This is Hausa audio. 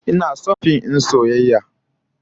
Ina son fim din soyayya